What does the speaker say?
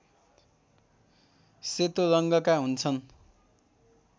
सेतो रङ्गका हुन्छन्